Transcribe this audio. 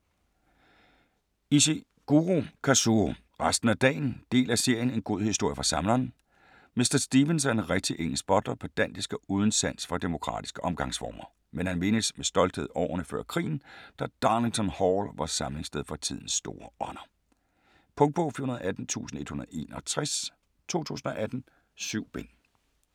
Ishiguro, Kazuo: Resten af dagen Del af serien En god historie fra Samleren. Mr. Stevens er en rigtig engelsk butler, pedantisk og uden sans for demokratiske omgangsformer, men han mindes med stolthed årene før krigen, da "Darlington Hall" var samlingssted for tidens store ånder. Punktbog 418161 2018. 7 bind.